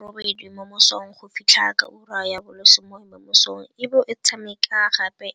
go tloga ka ura ya borobedi mo mosong go fitlha ka ura ya bo lesome mo mosong e bo e tshameka gape